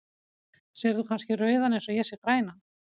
Sérð þú kannski rauðan eins og ég sé grænan?